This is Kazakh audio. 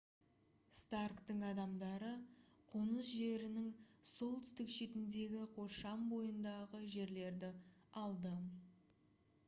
старктың адамдары қоныс жерінің солтүстік шетіндегі қоршам бойындағы жерлерді алды